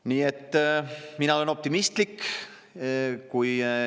Nii et mina olen optimistlik.